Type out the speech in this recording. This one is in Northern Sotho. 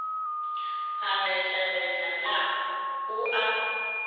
a getlagetla na o a